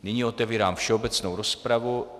Nyní otevírám všeobecnou rozpravu.